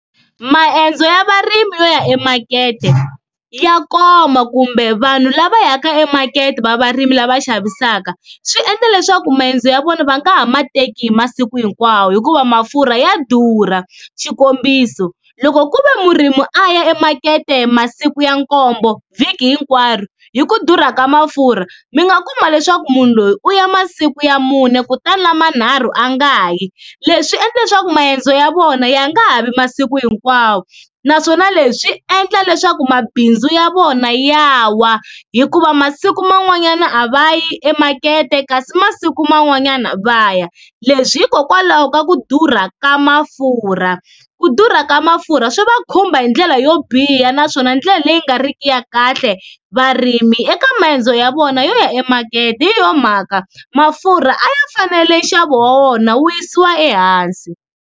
Maendzo ya varimi yo ya emakete ya koma kumbe vanhu lava yaka emakete va varimi lava xavisaka, swi endla leswaku maendzo ya vona va nga ha ma teki hi masiku hinkwawo hikuva mafurha ya durha, xikombiso loko ku ve murimi a ya emakete masiku ya nkombo vhiki hinkwaro hi ku durha ka mafurha mi nga kuma leswaku munhu loyi u ya masiku ya mune kutani lamanharhu a nga yi leswi endla leswaku maendzo ya vona ya nga ha vi masiku hinkwawo, naswona leswi swi endla leswaku mabindzu ya vona ya wa hikuva masiku man'wanyana a va yi emakete kasi masiku man'wanyana va ya leswi hikokwalaho ka ku durha ka mafurha, ku durha ka mafurha swi va khumba hi ndlela yo biha naswona ndlela leyi nga riki ya kahle, varimi eka maendzo ya vona yo ya emakete hi yoho mhaka mafurha a ya fanele nxavo wa wona wu yisiwa ehansi.